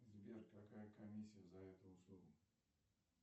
сбер какая комиссия за эту услугу